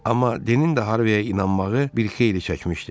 Amma Denin də Harviyə inanmağı bir xeyli çəkmişdi.